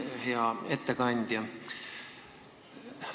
Hea ettekandja!